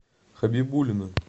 хабибуллина